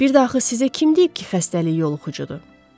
Bəs bir də axı sizə kim deyib ki, xəstəlik yoluxucudur?